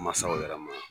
Masaw yɛrɛ ma